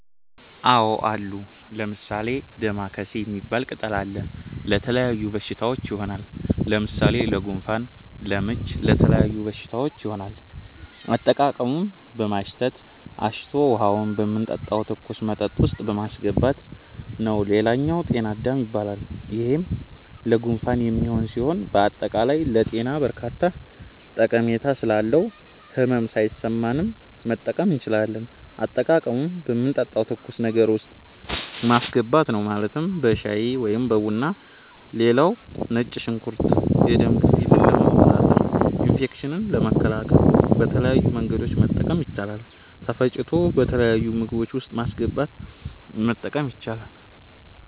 አዎ አሉ። ለምሣሌ፦ ደማከሴ ሚባል ቅጠል አለ። ለተለያዩ በሽታዎች ይሆናል። ለምሣሌ ለጉንፋን፣ ለምች ለተለያዩ በሽታዎች ይሆናል። አጠቃቀሙም በማሽተት፣ አሽቶ ውሀውን የምንጠጣው ትኩስ መጠጥ ውስጥ ማሥገባት ነዉ ሌላኛው ጤና -አዳም ይባላል ይሄም ለጉንፋን የሚሆን ሢሆን በአጠቃላይ ለጤና በርካታ ጠሜታ ስላለው ህመም ሣይሠማንም መጠቀም እንችላለን። አጠቃቀሙም በምንጠጣው ትኩስ ነገር ውስጥ ማስገባት ነው ማለትም በሻይ(በቡና ) ሌላው ነጭ ሽንኩርት የደም ግፊትን ለመቆጣጠር፣ ኢንፌክሽኖችን ለመከላከል በተለያዩ መንገዶች መጠቀም ይቻላል ተፈጭቶ በተለያዩ ምግቦች ውስጥ በማስገባት መጠቀም ይቻላል።